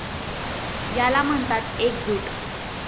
याला म्हणतात एकजूट.